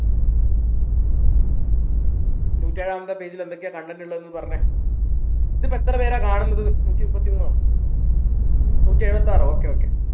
നൂറ്റെഴാമത്തെ page ൽ എന്തൊക്കെയാ content ഉള്ളത് എന്നൊന്ന് പറഞ്ഞേ ഇതിപ്പോ എത്രപേരെ കാണുന്നത് നൂറ്റിമുപ്പത്തിമൂന്നോ നൂറ്റിഎഴുവത്താറോ okay okay